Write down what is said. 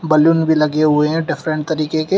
Balloon भी लगे हुए हैं डिफरेंट तरीके के।